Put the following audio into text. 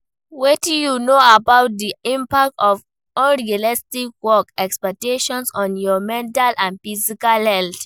Wetin you know about di impact of unrealistic work expectations on your mental and physical health?